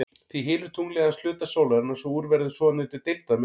Því hylur tunglið aðeins hluta sólarinnar svo úr verður svonefndur deildarmyrkvi.